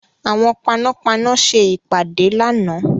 Àwọn panápaná ṣe ìpàdé lánàá.